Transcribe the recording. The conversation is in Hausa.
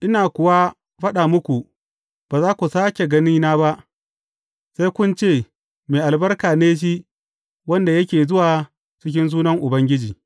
Ina kuwa faɗa muku, ba za ku sāke ganina ba, sai kun ce, Mai albarka ne shi wanda yake zuwa cikin sunan Ubangiji.